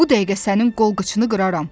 Bu dəqiqə sənin qol-qıçını qıraram.